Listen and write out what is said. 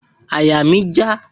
Àyà mi já